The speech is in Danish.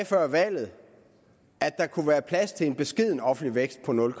før valget at der kunne være plads til en beskeden offentlig vækst på nul